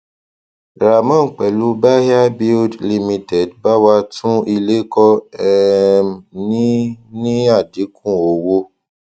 raman pẹlú bahia build ltd bá wa tún ilé kọ um ní ní àdínkù owó